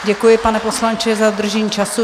Děkuji, pane poslanče, za dodržení času.